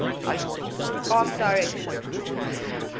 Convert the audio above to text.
art direction